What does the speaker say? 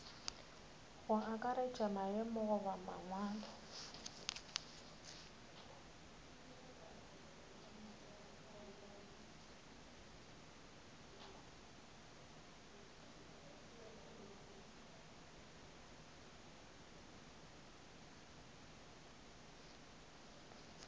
go akaretša maemo goba mangwalo